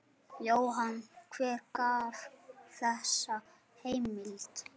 Jóhann: Hver gaf þessa heimild?